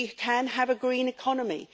We can have a green economy.